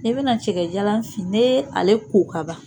N'i bɛna cɛkɛjalan fin n'i ye ale ko kaban